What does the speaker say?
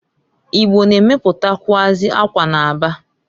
Igbo na-emeputakwụazị akwa n'Aba.